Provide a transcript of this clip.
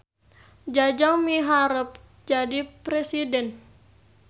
Jajang miharep jadi presiden